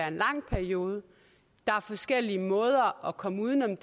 en lang periode der er forskellige måder at komme uden om